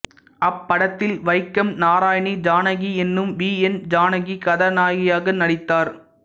அப்படத்தில் வைக்கம் நாராயணி ஜானகி என்னும் V N Janaki கதாநாயகியாக நடித்தார்